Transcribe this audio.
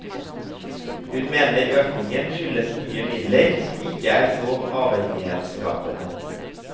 Hun mener økningen skyldes nye midler som ikke er så avhengighetsskapende.